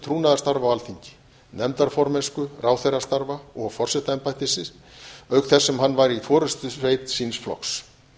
trúnaðarstarfa á alþingi nefndaformennsku ráðherrastarfa og forsetaembættisins auk þess sem hann var í forustusveit síns flokks